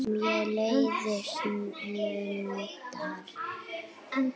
Mér leiðast luntar.